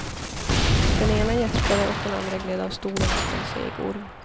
Den ena gäspade och den andra gled av stolen som en seg orm.